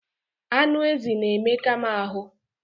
Anụ ezi na-emeka m ahụ.